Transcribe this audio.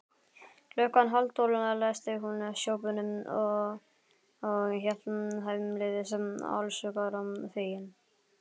Klukkan hálftólf læsti hún sjoppunni og hélt heimleiðis allshugar fegin.